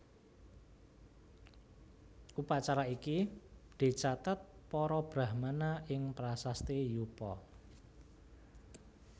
Upacara iki dicatet para Brahmana ing prasasti Yupa